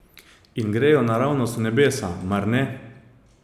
In grejo naravnost v nebesa, mar ne?